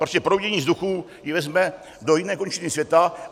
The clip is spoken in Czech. Prostě proudění vzduchu je vezme do jiné končiny světa.